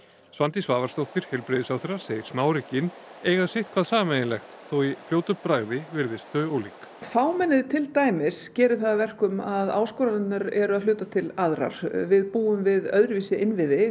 Svandís Svavarsdóttir heilbrigðisráðherra segir smáríkin eiga sitthvað sameiginlegt þó í fljótu bragði virðist þau ólík fámennið til dæmis gerir það að verkum að áskoranirnar eru að hluta til aðrar við búum við öðru vísi innviði